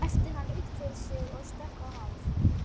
æpti hann upp yfir sig og stökk á hálf